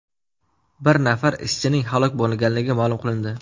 Bir nafar ishchining halok bo‘lganligi ma’lum qilindi.